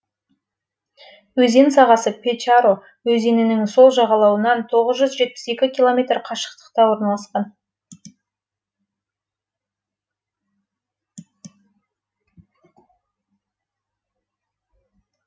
өзен сағасы печора өзенінің сол жағалауынан тоғыз жүз жетпіс екі километр қашықтықта орналасқан